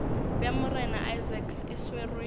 bja morena isaacs e swerwe